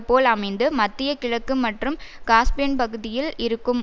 போல் அமைந்து மத்திய கிழக்கு மற்றும் காஸ்பியன் பகுதியில் இருக்கும்